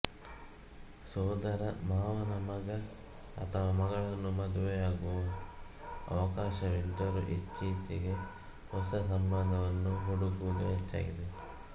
ಸೋದರ ಮಾವನ ಮಗ ಅಥವಾ ಮಗಳನ್ನು ಮದುವೆಯಾಗುವ ಅವಕಾಶವಿದ್ದರೂ ಇತ್ತೀಚೆಗೆ ಹೊಸ ಸಂಬಂಧವನ್ನು ಹುಡುಕುವುದು ಹೆಚ್ಚಾಗಿದೆ